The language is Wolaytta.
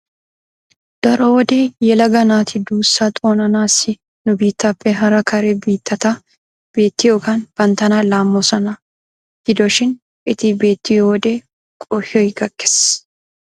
Daro wode yelaga naati duussaa xoonanaassi nu biittaappe hara kare biittata betiyogan banttana laammoosona. Gido shin eti betiyo wode qohoy gakkes.